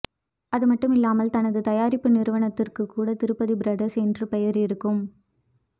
அதுமட்டுமில்லாமல் தனது தயாரிப்பு நிறுவனத்துக்கு கூட திருப்பதி ப்ரொதர்ஸ் என்று பெயர் இருக்கும்